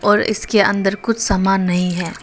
और इसके अंदर कुछ सामान नहीं है।